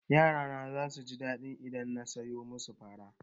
Yara na zasu ji daɗi idan na soya musu fara.